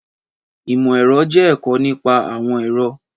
Ìmọ̀ ẹ̀rọ jẹ́ ẹ̀kọ́ nípa àwọn ẹ̀rọ